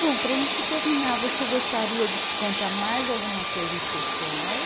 Bom, para a gente terminar, você gostaria de contar mais alguma coisa em especial?